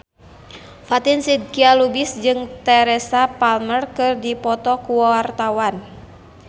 Fatin Shidqia Lubis jeung Teresa Palmer keur dipoto ku wartawan